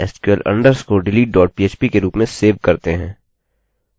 हम बिलकुल उसी प्रकार से करेंगे जैसे हमने पहले किया था